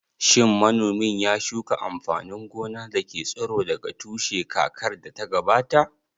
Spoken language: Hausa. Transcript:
Shin manomin ya shuka amfanin gona da ke tsiro daga tushe kakar da ta gabata?